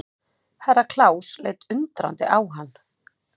Herra Klaus leit undrandi á hann.